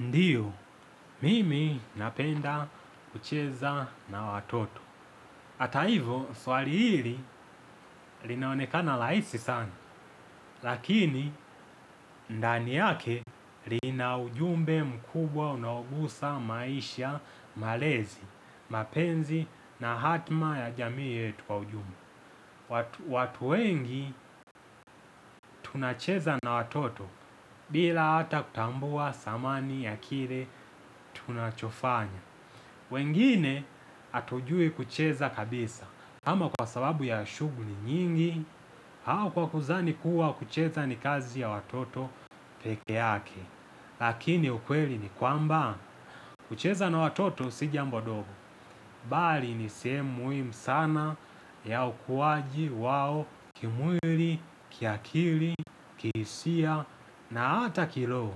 Ndiyo, mimi napenda kucheza na watoto. Hata hivyo, swali hili linaonekana rahisi sana, lakini ndani yake linaujumbe mkubwa unaogusa maisha, malezi, mapenzi na hatima ya jamii yetu kwa ujumla. Watu wengi tunacheza na watoto, bila hata kutambua thamani ya kile tunachofanya. Wengine hatujui kucheza kabisa, kama kwa sababu ya shughuli nyingi au kwa kuzani kuwa kucheza ni kazi ya watoto peke yake. Lakini ukweli ni kwamba, kucheza na watoto si jambo dogo, bali ni sehemu muhimu sana ya ukuwaji wao kimwili, kiakili, kihisia na hata kiroho.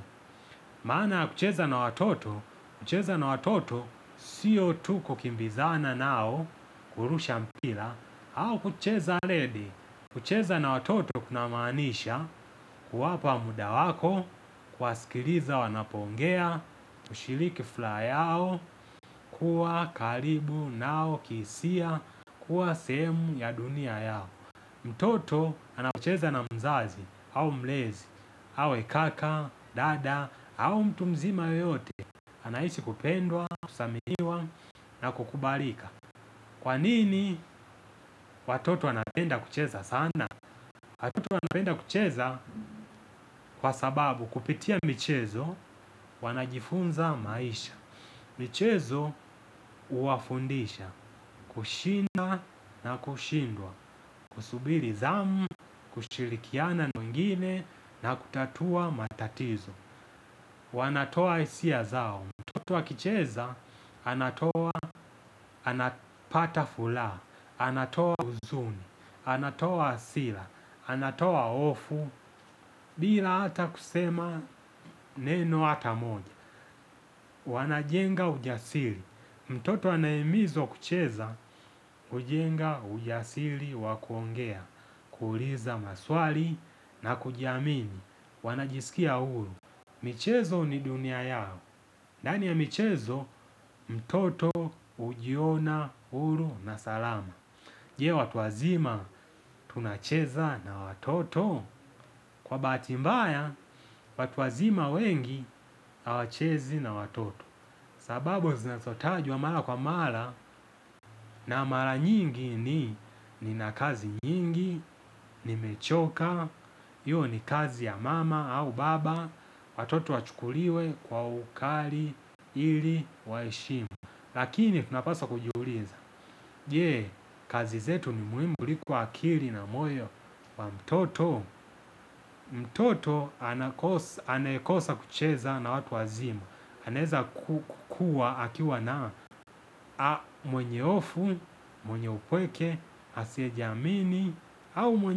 Maana kucheza na watoto, kucheza na watoto sio tu kukimbizana nao, kurusha mpira, au kucheza rede. Kucheza na watoto kunamanisha, kuwapa muda wako, kuwasikiliza wanapoongea, kushiriki furaha yao, kuwa karibu nao kihisia, kuwa sehemu ya dunia yao. Mtoto anapocheza na mzazi au mlezi, awe kaka, dada au mtu mzima yeyote, anahisi kupendwa, kuthaminiwa na kukubalika. Kwanini watoto wanapenda kucheza sana? Watoto wanapenda kucheza, kwa sababu, kupitia michezo wanajifunza maisha. Michezo huwafundisha, kushinda na kushindwa, kusubiri zamu, kushirikiana na wengine na kutatua matatizo. Wanatoa hisia zao, mtoto akicheza, anapata furaha. Anatoa huzuni, anatoa hasira, anatoa hofu, bila hata kusema neno hata moja. Wanajenga ujasiri, mtoto anahimizwa kucheza, kujenga ujasiri wa kuongea, kuuliza maswali na kujiamini, wanajisikia huru. Michezo ni dunia yao. Ndani ya michezo, mtoto hujiona huru na salama. Je watu wazima tunacheza na watoto? Kwa bahati mbaya, watu wazima wengi hawachezi na watoto. Sababu zinazotajwa mara kwa mara. Na mara nyingi ninakazi nyingi. Nimechoka, hiyo ni kazi ya mama au baba. Watoto wachukuliwe kwa ukali ili waheshimu. Lakini tunapaswa kujiuliza, je! Kazi zetu ni muhimu kuliko akili na moyo wa mtoto? Anayekosa kucheza na watu wazima. Anaweza kukua akiwa na mwenyehofu, mwenyeupweke, asiyejiamini au mwenye,